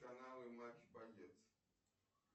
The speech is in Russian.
каналы матч боец